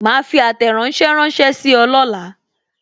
Ma fi àtẹ̀ránsẹ́ ránsẹ́ sí ọ lọla